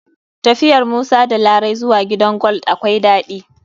Tafiyar musa da larai zuwa gidan gold akwai daɗi.